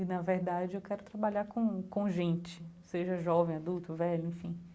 E na verdade eu quero trabalhar com com gente, seja jovem, adulto, velho, enfim.